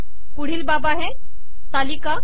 पुढील बाब आहे तालिका